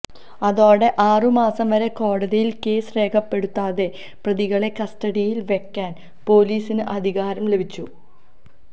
അതോടെ ആറു മാസം വരെ കോടതിയിൽ കേസ് രേഖപ്പെടുത്താതെ പ്രതികളെ കസ്റ്റഡിയിൽ വെക്കാൻ പോലീസിന് അധികാരം ലഭിച്ചു